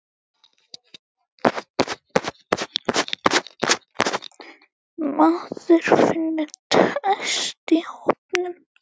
Maður finnur traust í hópnum.